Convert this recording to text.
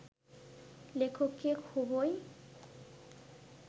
লেখককে খুবই